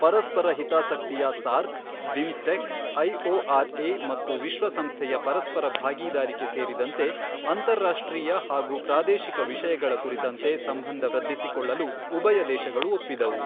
ಪರಸ್ಪರ ಹಿತಾಸಕ್ತಿಯ SAARC, BIMSTEC, IOR A ಮತ್ತು ವಿಶ್ವಸಂಸ್ಥೆಯ ಪರಸ್ಪರ ಭಾಗಿದಾರಿಕೆ ಸೇರಿದಂತೆ ಅಂತಾರಾಷ್ಟ್ರೀಯ ಹಾಗೂ ಪ್ರಾದೇಶಿಕ ವಿಷಯಗಳ ಕುರಿತಂತೆ ಸಂಬಂಧ ವೃದ್ಧಿಸಿಕೊಳ್ಳಲು ಉಭಯ ದೇಶಗಳು ಒಪ್ಪಿದವು.